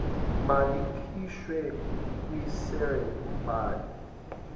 malikhishwe kwirejista umbhalisi